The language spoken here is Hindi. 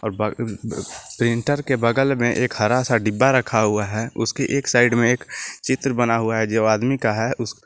और बर प्रिंटर के बगल में एक हरा सा डिब्बा रखा हुआ है उसकी एक साइड में एक चित्र बना हुआ है जो आदमी का है उस--